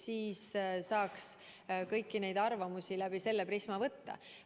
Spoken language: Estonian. Siis saaks kõiki neid arvamusi läbi selle prisma võtta.